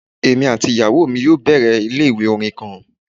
Emi ati iyawo mi yoo bẹrẹ ile-iwe orin kan